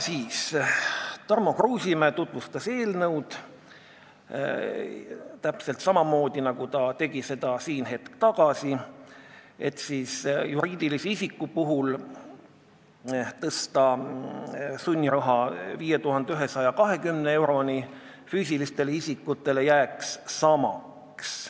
Tarmo Kruusimäe tutvustas eelnõu täpselt samamoodi, nagu ta tegi seda siin hetk tagasi: juriidilisel isikul tõsta sunniraha 5120 euroni, füüsilisel isikul jätta samaks.